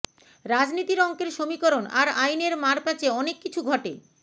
রাজনীতির অংকের সমীকরণ আর আইনের মার প্যাঁচে অনেক কিছু ঘটে